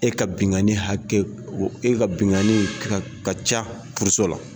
E ka binkanni hakɛ o e ka binkanni ka ka ca furuso la